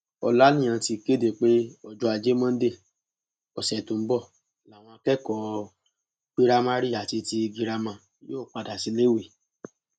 ọlàníyàn ti kéde pé ọjọ ajé monde ọsẹ tó ń bọ làwọn akẹkọọ piramari àti ti girama yóò padà síléèwé